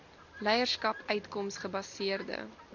leierskap uitkoms gebaseerde